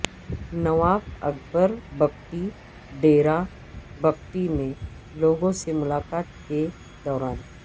نواب اکبر بگٹی ڈیرہ بگٹی میں لوگوں سے ملاقات کے دوران